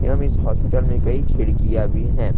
एवं इस हॉस्पिटल में कई खिड़कियां भी हैं।